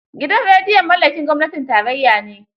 Gidan rediyon mallakin gwamnatin tarayya ne.